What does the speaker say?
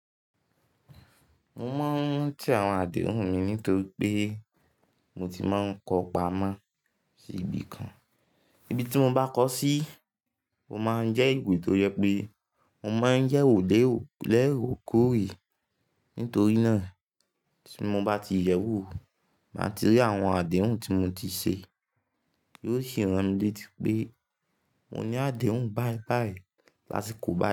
Mo máa ń rántí àwọn àdéhùn mi nítorí pé mo ti máa ń kọ pamọ́ sí ibi kan. Ibi tí mo bá kọ sí, ó máa ń jẹ́ ìwe tó jẹ pé mo máa ń yẹ̀wò lẹ́ro kóre. Nítorí náà tí mo bá ti yẹ̀wò, máa ti rí àwọn àdéhùn tí mo ti ṣe, yóò sì ran mi létí pé mo ní àdéhùn báibáyìí lásikò báyi.